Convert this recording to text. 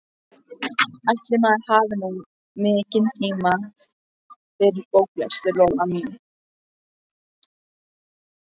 Ætli maður hafi nú mikinn tíma fyrir bóklestur, Lolla mín.